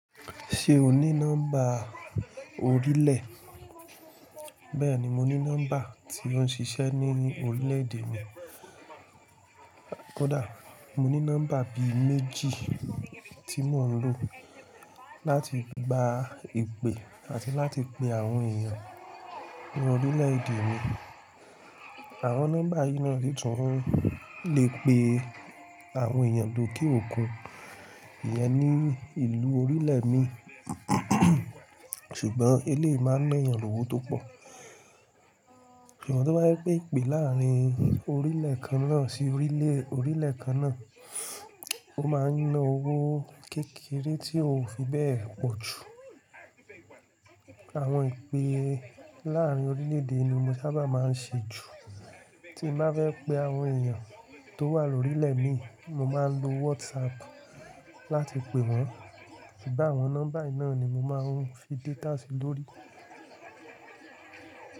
Ṣé o ní nọ́mbà orílẹ̀? Bẹ́ẹ̀ni, mo ní nọ́mbà tí o ń ṣiṣẹ́ nínú orílẹ̀ èdè mi. Koda, mo ní nọ́mbà bí i méjì tí mo ń lò láti gba ìpè àti láti pe àwọn èèyàn ní orílẹ̀ èdẹ̀ mi. Àwọn nọ́mbà yìí náà si tun lè pe àwọn èèyàn ló ke òkun, iyen ní ìlú orílẹ̀ mi. Ṣùgbọ́n eléyi ma ń na eeyàn lówó tó pọ̀. Ṣùgbọ́n tí o bá jẹ́ pe ìpè láàárín orílẹ̀ kan náà sí orílẹ̀ orílẹ̀ kan náà, ó ma ń na owó kékeré tí ò fi bẹ́ẹ̀ pọ̀ jù. Àwọn ìpè láàárín orílẹ̀ èdè ni mo sábà má ń ṣe jù. Tí m bá fẹ́ pe àwọn èèyàn tó wà lórílẹ̀ mi, mo má ń lo WhatsApp láti pe wọ́n. Ṣùgbọ́n àwọn nọ́mbà yìí náà ni mo máa ń fi data sí lórí.